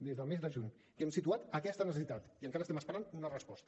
des del mes de juny hem situat aquesta necessitat i encara estem esperant una resposta